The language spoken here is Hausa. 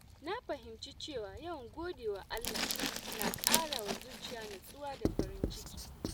Na fahimci cewa yawan godewa Allah na ƙara wa zuciya natsuwa da farin ciki.